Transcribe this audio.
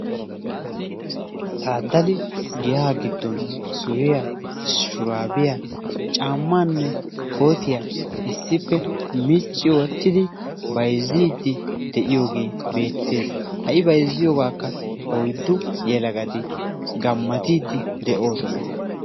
Taaddali giyaa giddon suriya, shuraabiya, caamanne kootiya issippe micci wottidi bayzziiddi de'iyogee beettees. Ha'i bayzizyogaakka oyddu yelagati gammatiiddi de'oosona.